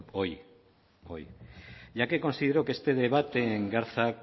hoy ya que considero que este debate engarza